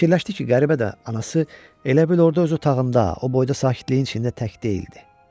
Fikirləşdi ki, qəribə də, anası elə bil orda öz otağında, o boyda sakitliyin içində tək deyildi.